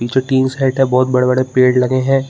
पीछे tin shed है बहोत बड़े-बड़े पेड़ लगे है।